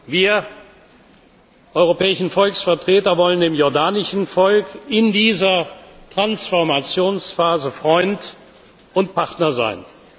Wir europäischen Volksvertreter wollen dem jordanischen Volk in dieser Transformationsphase Freund und Partner sein.